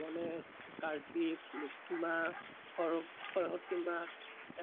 গনেশ কৰ্থিক লশ্মি মা সৰস্ৱতি মা